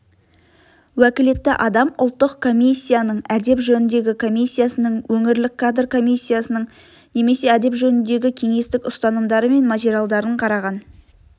уәкілетті адам ұлттық комиссияның әдеп жөніндегі комиссияның өңірлік кадр комиссиясының немесе әдеп жөніндегі кеңестің ұсынымдары мен материалдарын қараған